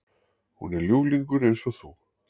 Hún er ljúflingur eins og þú.